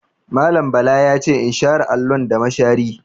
Mallam Bala ya ce in share allon da mashari.